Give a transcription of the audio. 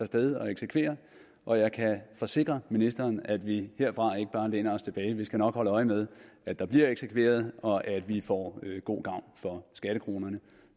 sted og eksekvere og jeg kan forsikre ministeren om at vi herfra ikke bare læner os tilbage vi skal nok holde øje med at der bliver eksekveret og at vi får god gavn for skattekronerne